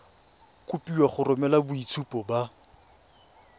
kopiwa go romela boitshupo ba